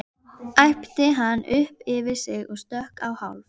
æpti hann upp yfir sig og stökk á hálf